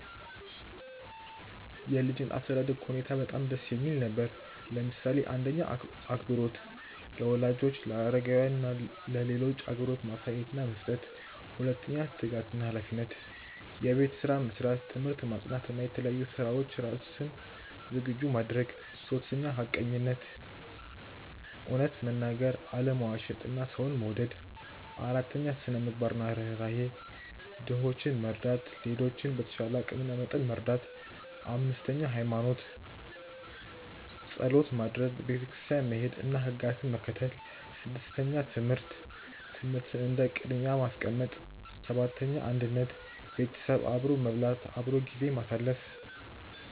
የ ልጅነት አስተዳደግ ሁኔታየ በጣም ደስ የሚል ነበር፣ ለምሳሌ :- 1. አክብሮት - ለወላጆች፣ ለአረጋውያን እና ለሌሎች አክብሮት ማሳየት እና መስጠት 2· ትጋት እና ሃላፊነት - የቤት ስራ መስራት፣ ትምህርት ማጥናት እና ለተለያዩ ስራዎች ራስን ዝግጁ ማድረግ 3· ሐቀኝነት - እውነት መናገር፣ አለመዋሸት እና ሰውን መውደድ 4· ስነ -ምግባር እና ርህራሄ - ድሆችን መርዳት፣ ሌሎችን በተቻለ አቂም እና መጠን መርዳት 5· እምነት (ሃይማኖት) - ጸሎት ማድረግ፣ ቤተክርስቲያን መሄድ እና ሕግጋትን መከተል 6· ትምህርት - ትምህርትን እንደ ቅድሚያ ማስቀመጥ 7· አንድነት - ቤተሰብ አብሮ መብላት፣ አብሮ ጊዜ ማሳለፍ